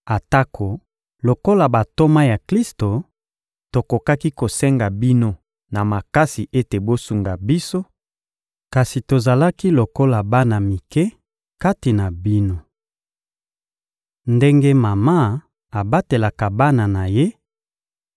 atako, lokola bantoma ya Klisto, tokokaki kosenga bino na makasi ete bosunga biso; kasi tozalaki lokola bana mike kati na bino. Ndenge mama abatelaka bana na ye,